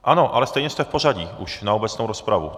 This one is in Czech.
Ano, ale stejně jste v pořadí už na obecnou rozpravu.